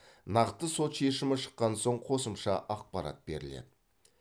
нақты сот шешімі шыққан соң қосымша ақпарат беріледі